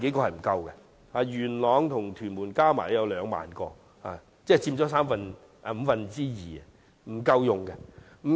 元朗和屯門加起來有兩萬個，即佔了總數五分之二，但仍不足夠。